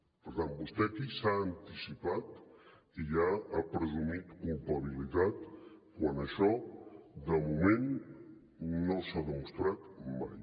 per tant vostè aquí s’ha anticipat i ja ha presumit culpabilitat quan això de moment no s’ha demostrat mai